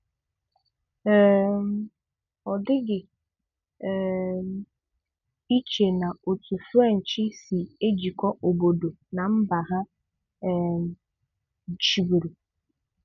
um Ọ dịghị um ìché na òtù French sì ejikọ̀ òbòdò nà mba ha um chībùrù.